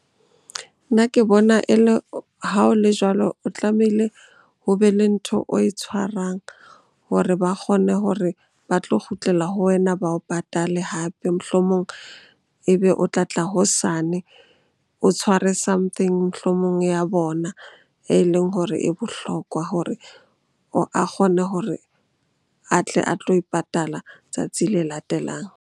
Nna ke bona e le ha o le jwalo, o tlamehile ho be le ntho oe tshwarang hore ba kgone hore ba tlo kgutlela ho wena ba o patale hape. Mohlomong ebe o tlatla hosane, o tshware something mohlomong ya bona e leng hore e bohlokwa hore a kgone hore a tle a tlo e patala tsatsi le latelang.